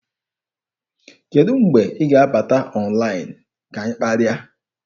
Kedụ mgbe ị ga-abata ọnlaịn ka anyị kparịa?